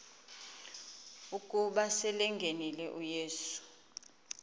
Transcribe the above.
ukuba selengenile uyesu